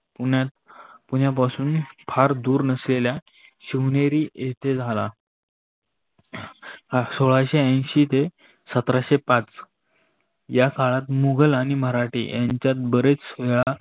पुण्यात पुण्यापासून फार दूर नसलेल्या शिवनेरी येते झाला. सोळाशे आंशी ते सत्राशे पाच या काळात मुघल आणि मराठी यांच्यात बरेच वेळा